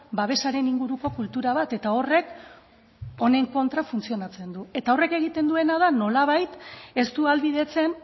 babesaren inguruko kultura bat eta horrek honen kontra funtzionatzen du eta horrek egiten duena da nolabait ez du ahalbidetzen